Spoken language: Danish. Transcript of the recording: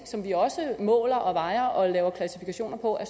som vi også måler og vejer og laver klassifikationer på er